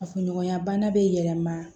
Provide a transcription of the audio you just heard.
Kafoɲɔgɔnya bana bɛ yɛlɛma